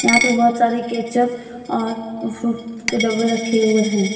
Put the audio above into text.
यहां पे बहुत सारे केचप और फ्रूट के डब्बे रखे हुए हैं।